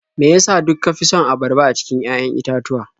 Me ya sa duk ka fi son abarba a cikin 'ya'yan itatuwa?